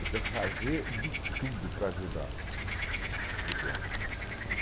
Ele quer fazer de tudo para ajudar o pequeno.